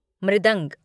मृदंग